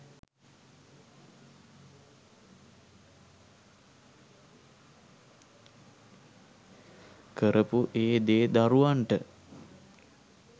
කරපු ඒ දේ දරුවන්ට